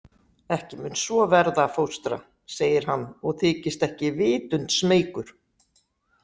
Ekki mun svo verða, fóstra, segir hann og þykist ekki vitund smeykur.